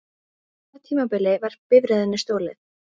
Á hvaða tímabili var bifreiðinni stolið?